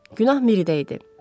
Günah Miridə idi.